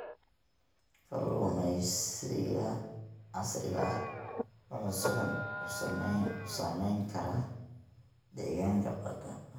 Kalluumeysiga casriga ah wuxuu si xun u saameyn karaa nidaamka deegaanka badda.